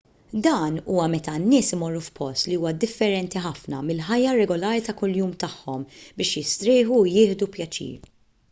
dan huwa meta n-nies imorru f'post li huwa differenti ħafna mill-ħajja regolari ta' kuljum tagħhom biex jistrieħu u jieħdu pjaċir